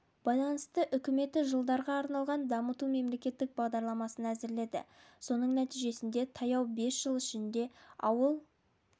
байланысты үкіметі жылдарға арналған дамыту мемлекеттік бағдарламасын әзірледі соның нәтижесінде таяу бес жыл ішінде ауыл